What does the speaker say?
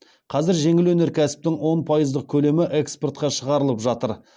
қазір жеңіл өнеркәсіптің он пайыздық көлемі экспортқа шығарылып жатыр